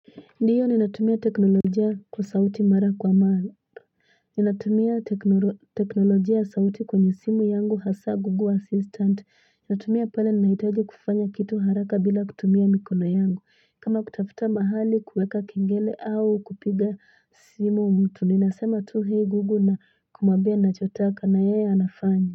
Ndiyo ninatumia teknologia kusauti mara kwa maalap. Nyanatumia teknologia sauti kunyesimu yangu hasa Google Assistant. Nyanatumia pale naitaji kufanya kitu haraka bila kutumia mikulayangu. Kama kutafuta mahali kuweka kingele au kupiga simu umutu. Ninasema tuhe igugu na kumabena chotaka na ea nafanya.